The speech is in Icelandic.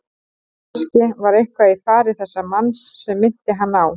Kannske var eitthvað í fari þessa manns sem minnti hann á